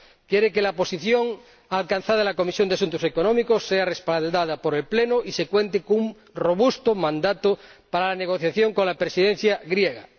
Quiere que la posición alcanzada en la Comisión de Asuntos Económicos y Monetarios sea respaldada por el Pleno y que se cuente con un robusto mandato para la negociación con la Presidencia griega.